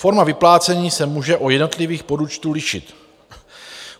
Forma vyplácení se může u jednotlivých podúčtů lišit.